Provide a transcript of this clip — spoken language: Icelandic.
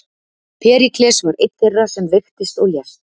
Períkles var einn þeirra sem veiktist og lést.